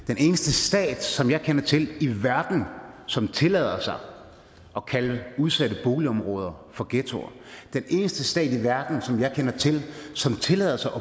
den eneste stat som jeg kender til som tillader sig at kalde udsatte boligområder for ghettoer den eneste stat i verden som jeg kender til som tillader sig at